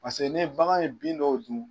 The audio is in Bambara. Pase ni bagan ye bin dɔw dun